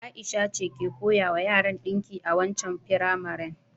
Ai'sha ce ke koyawa yara dinki a waccan firamaren.